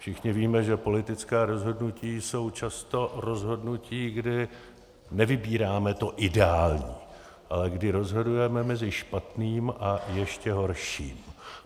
Všichni víme, že politická rozhodnutí jsou často rozhodnutí, kdy nevybíráme to ideální, ale kdy rozhodujeme mezi špatným a ještě horším.